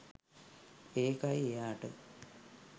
ඒකයි එයාට